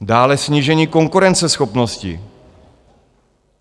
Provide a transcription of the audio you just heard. Dále snížení konkurenceschopnosti.